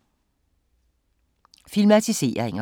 Filmatiseringer